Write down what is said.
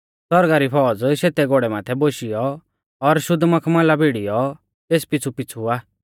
सौरगा री फौज़ शेतै घोड़ै माथै बोशियौ और शेतै और शुद्ध मखमला भिड़ीयौ तेस पिछ़ुपिछ़ु आ